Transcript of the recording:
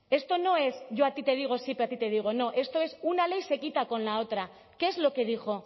esto no es yo a ti te digo sí pero a ti te digo no esto es una ley se quita con la otra qué es lo que dijo